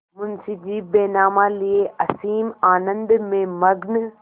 मुंशीजी बैनामा लिये असीम आनंद में मग्न